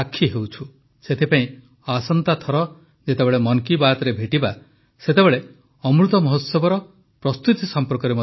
ସେଥିପାଇଁ ଆସନ୍ତା ଥର ଯେତେବେଳେ ମନ୍ କୀ ବାତ୍ରେ ଭେଟିବା ସେତେବେଳେ ଅମୃତମହୋତ୍ସବର ଓ ପ୍ରସ୍ତୁତି ସମ୍ପର୍କରେ ମଧ୍ୟ କଥା ହେବା